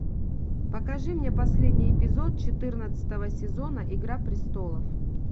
покажи мне последний эпизод четырнадцатого сезона игра престолов